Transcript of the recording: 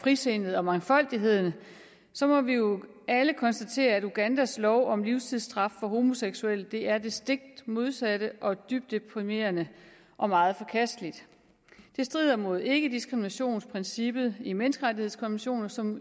frisindet og mangfoldigheden så må vi jo alle konstatere at ugandas lov om livstidsstraf for homoseksuelle er det stik modsatte og det er deprimerende og meget forkasteligt det strider mod ikkediskriminationsprincippet i menneskerettighedskonventionen som